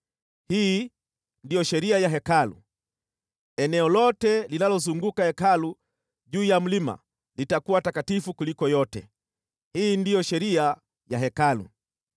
“Hii ndiyo sheria ya Hekalu: Eneo lote linalozunguka Hekalu juu ya mlima litakuwa takatifu kuliko yote. Hii ndiyo sheria ya Hekalu.